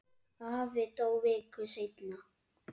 Afi dó viku seinna.